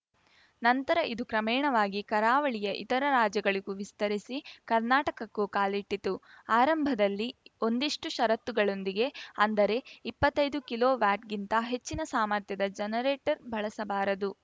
ನಂತರ ಇದು ಕ್ರಮೇಣವಾಗಿ ಕರಾವಳಿಯ ಇತರ ರಾಜ್ಯಗಳಿಗೂ ವಿಸ್ತರಿಸಿ ಕರ್ನಾಟಕಕ್ಕೂ ಕಾಲಿಟ್ಟಿತು ಆರಂಭದಲ್ಲಿ ಒಂದಿಷ್ಟುಷರತ್ತುಗಳೊಂದಿಗೆ ಅಂದರೆ ಇಪ್ಪತ್ತೈದು ಕಿಲೋ ವ್ಯಾಟ್‌ಗಿಂತ ಹೆಚ್ಚಿನ ಸಾಮರ್ಥ್ಯದ ಜನರೇಟರ್‌ ಬಳಸಬಾರದು